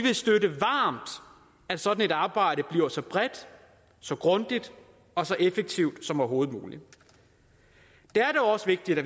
støtte at sådan et arbejde bliver så bredt så grundigt og så effektivt som overhovedet muligt det er dog også vigtigt at